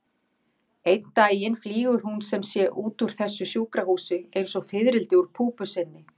Einn daginn flýgur hún sem sé út úr þessu sjúkrahúsi einsog fiðrildi úr púpu sinni.